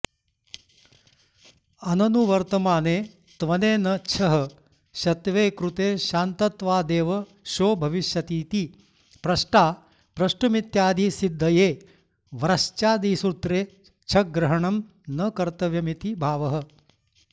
अननुवर्तमाने त्वनेन छः शत्वे कृते शान्तत्वादेव षो भविष्यतीति प्रष्टा प्रष्टुमित्यादिसिद्धये व्रश्चादिसूत्रे छग्रहणं न कर्तव्यमिति भावः